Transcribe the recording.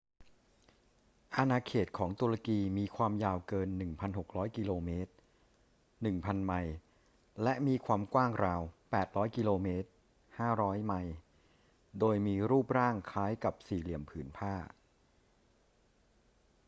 อาณาเขตของตุรกีมีความยาวเกิน 1,600 กิโลเมตร 1,000 ไมล์ และมีความกว้างราว 800 กิโลเมตร 500 ไมล์ โดยมีรูปร่างคล้ายกับสี่เหลี่ยมผืนผ้า